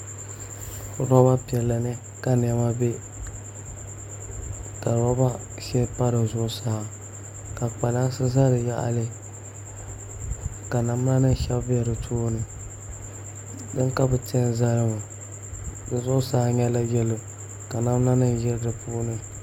Roba piɛla ni ka niɛma bɛ ka roba shɛli pa di zuɣusaa ka kpalansi ʒɛ di yaɣali ka namda nim shɛbi bɛ di tooni din ka bi ti n zali ŋɔ di zuɣusaa nyɛla yɛlo ka namda nim ʒi di puuni